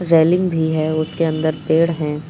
Railing भी है और उसके अंदर पेड़ हैं।